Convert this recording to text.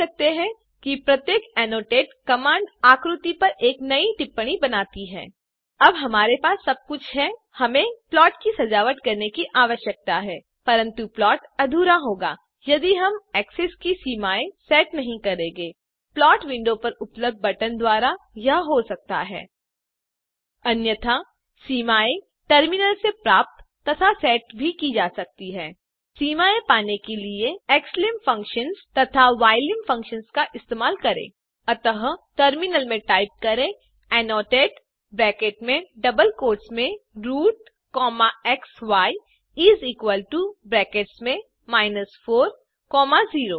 आप देख सकते हैं प्रत्येक टिप्पणी की हुई कमांड आकृति पर एक नई टिप्पणी बनाती है अब हमारे पास प्लॉट की सजावट के लिए सब कुछ है परंतु यदिहमने एक्सेस की सीमाए को सेट नहीं किया तो प्लॉट अधूरा होगा प्लॉट विंडो पर उपल्बध बटन द्वारा यह हो सकता है अन्यथा सीमाए टर्मिनल से प्राप्त तथा सेट की जा सकती है सीमाए पाने के लिए xlimfunction तथा ylim फंक्शन इस्तेमाल करें अतः टर्मिनल में टाइप करें एनोटेट ब्रैकेट्स में डबल कोट्स मेंroot comma xy is equal to brackets में माइनस 4 कॉमा 0